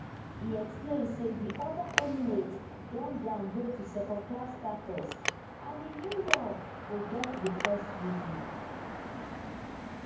e explain say di oda emirates don downgrade to secondclass status and di new law go get di first reading